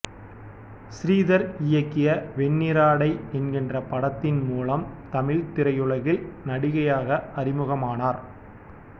ஸ்ரீதர் இயக்கிய வெண்ணிற ஆடை என்கிற படத்தின் மூலம் தமிழ்த் திரையுலகில் நடிகையாக அறிமுகமானார்